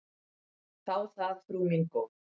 Þá það, frú mín góð.